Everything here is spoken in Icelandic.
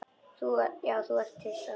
Já þú ert hissa.